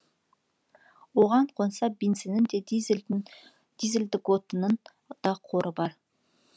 оған қоса бензиннің де дизельдік отынның да қоры бар